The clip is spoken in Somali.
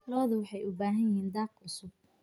Lo'du waxay u baahan yihiin daaq cusub.